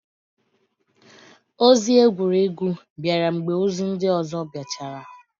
Ozi egwuregwu bịara mgbe ozi ndị ọzọ biachara.